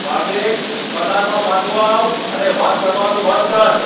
કાર્તિક! કતારમાં પાછો આવ અને વાત કરવાનું બંધ કર.